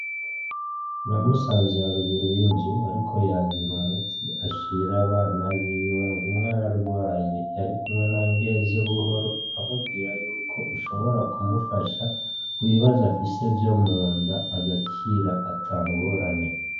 Namusanze haruguru y'inzu ariko yahira umuti ashira abana biwe, ng’umwe ararwaye. yarikumwe na Ngenzebuhoro amubwira yuko ushobora kumufasha kubibazo afise vyo munda agakira atangorane.